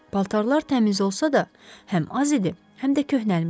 Paltarlar təmiz olsa da, həm az idi, həm də köhnəlmişdi.